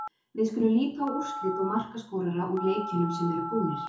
Við skulum líta á úrslit og markaskorara úr leikjunum sem eru búnir.